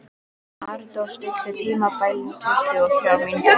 Arndór, stilltu tímamælinn á tuttugu og þrjár mínútur.